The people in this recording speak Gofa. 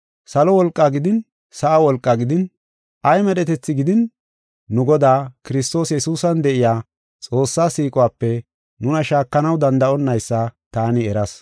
salo wolqaa gidin sa7a wolqaa gidin ay medhetethi gidin nu Godaa, Kiristoos Yesuusan de7iya Xoossaa siiquwape nuna shaakanaw danda7onnaysa taani eras.